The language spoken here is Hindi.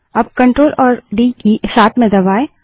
अब Ctrl और डी की साथ में दबायें